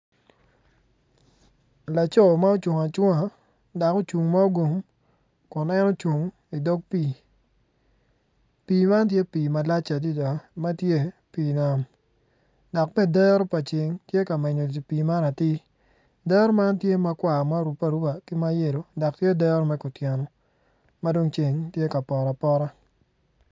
Laco ma ocung acunga dok ocung ma ogungo kun en ocung idog pii pii man tye pii malac adada ma tye pii nam dok bene dero pa ceng tye ka menyo pii man atir dero man tye makwar ma orubbe aruba ki ma yelo dok tye dero me kutyeno ma dong tye ka poto apota.